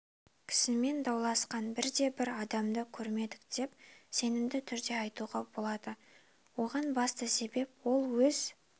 кісімен дауласқан бірде-бір адамды көрмедік деп сенімді түрде айтуға болады оған басты себеп ол өз